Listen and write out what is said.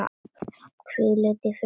Hvíldu í friði, elsku Raggi.